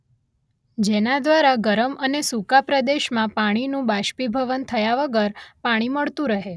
જેના દ્વારા ગરમ અને સૂકા પ્રદેશમાં પાણીનું બાષ્પીભવન થયા વગર પાણી મળતું રહે.